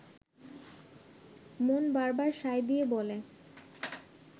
মন বারবার সায় দিয়ে বলে